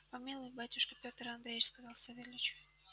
помилуй батюшка пётр андреич сказал савельич